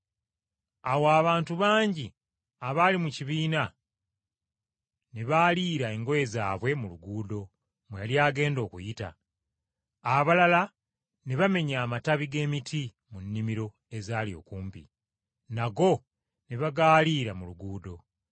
Awo abantu bangi abaali mu kibiina ne baaliira engoye zaabwe mu luguudo mwe yali agenda okuyita, abalala ne bamenya amatabi g’emiti mu nnimiro ezaali okumpi, nago ne bagaalira mu luguudo.